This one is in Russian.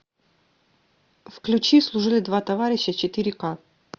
включи служили два товарища четыре ка